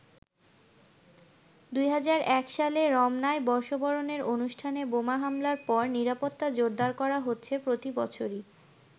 ২০০১ সালে রমনায় বর্ষবরণের অনুষ্ঠানে বোমা হামলার পর নিরাপত্তা জোরদার করা হচ্ছে প্রতিবছরই।